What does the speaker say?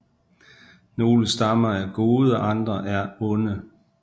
Nogle stammer er gode og andre er onde